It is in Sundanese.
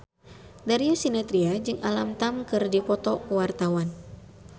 Darius Sinathrya jeung Alam Tam keur dipoto ku wartawan